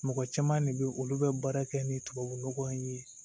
Mɔgɔ caman de bɛ olu bɛ baara kɛ ni tubabu nɔgɔ ye